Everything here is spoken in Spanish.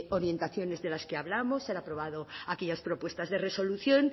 orientaciones de la que hablamos se han aprobado aquellas propuestas de resolución